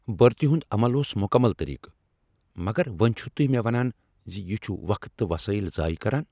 برتی ہنٛد عمل اوس مکمل طریقہ مگر وۄنۍ چھو تہۍ مےٚ ونان ز یہ چھ وقت تہٕ وسایل ضایع کرن۔